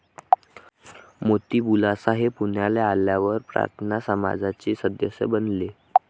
मोती बुलासा हे पुण्याला आल्यावर प्रार्थना समाजाचे सदस्य बनले.